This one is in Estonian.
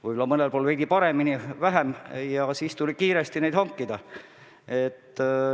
Mõnel pool olid lood veidi paremad, mõnel pool kehvemad ja siis tuli neid kiiresti hankida.